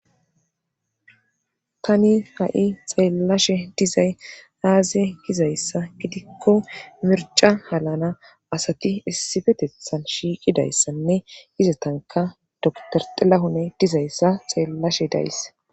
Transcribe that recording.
Tani ha7i xeellashe dizay aaze gizayssa gidikko mirca halana asati issibetethan shiiqidayssanne izatanka dotor xilahune dizayssa xeellashe days.